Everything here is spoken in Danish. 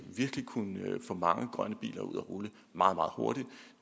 kunne få mange grønne biler ud at rulle meget hurtigt